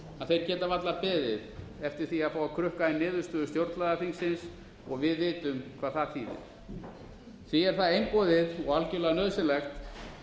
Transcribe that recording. að þeir geta varla beðið eftir því að fá að krukka í niðurstöður stjórnlagaþingsins og við vitum hvað það þýðir því er það einboðið og algerlega nauðsynlegt